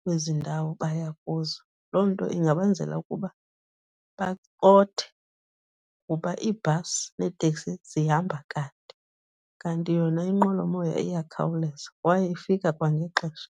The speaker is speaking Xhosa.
kwezi ndawo baya kuzo. Loo nto ingabenzela ukuba bacothe kuba iibhasi neeteksi zihamba kade, kanti yona inqwelomoya iyakhawuleza kwaye ifika kwangexesha.